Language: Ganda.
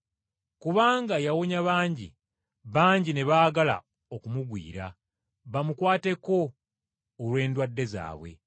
Kubanga yawonya bangi, bangi ne baagala okumugwira bamukwateko olw’endwadde zaabwe.